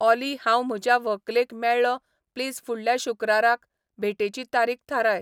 ऑली हांव म्हज्या व्हंकलेक मेळ्ळों प्लीज फुडल्या शुक्राराक भेटेची तारीख थाराय